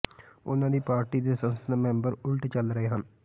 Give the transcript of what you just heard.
ਉਨ੍ਹਾਂ ਦੀ ਪਾਰਟੀ ਦੇ ਸੰਸਦ ਮੈਂਬਰ ਉਲਟ ਚੱਲ ਰਹੇ ਹਨ